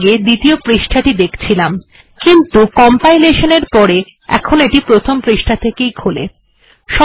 আমরা আগে দ্বিতীয় পৃষ্ঠা টি দেখছিলাম কিন্তু কম্পায়লেশন এর পরে এটি প্রথন পৃষ্ঠা থেকে খোলে